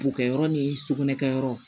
Bokɛyɔrɔ ni sukunɛ kɛ yɔrɔ